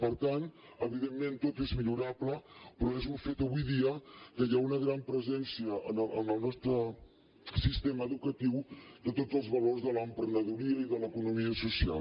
per tant evidentment tot és millorable però és un fet avui dia que hi ha una gran presència en el nostre sistema educatiu de tots els valors de l’emprenedoria i de l’economia social